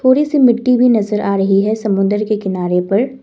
थोड़ी सी मिट्टी भी नजर आ रही है समुन्दर के किनारे पर।